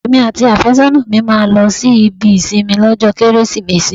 Èmi àti afésónà mi la máa lọ sí ibi ìsinmi lọ́jọ́ Kérésìmesì.